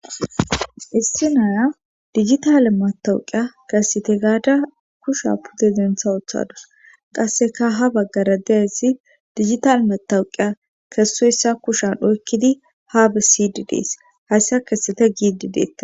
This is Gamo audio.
issi naya dijitale matawuqiya kessete gaada kusha pude dentha othadus qasseka ha baggara deessi dijital matawuqiya kessoyssa kushan oykkidi haabe sidi dees hayssa kessete giidi deetta